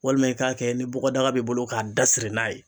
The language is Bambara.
Walima i k'a kɛ ni bɔgɔdaga b'i bolo k'a da siri n'a ye